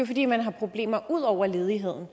fordi man har problemer ud over ledigheden